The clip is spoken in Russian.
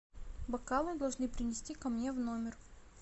бокалы должны принести ко мне в номер